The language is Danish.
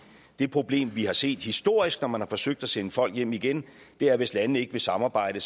det problem vi har set historisk når man har forsøgt at sende folk hjem igen er at hvis landene ikke vil samarbejde